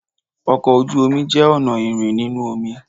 Ọkọ ojú omi jẹ ọna irin ninu omi